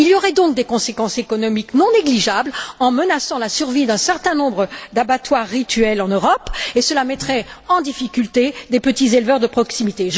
Il y aurait donc des conséquences économiques non négligeables, la survie d'un certain nombre d'abattoirs rituels en Europe serait menacée, et cela mettrait en difficulté des petits éleveurs de proximité.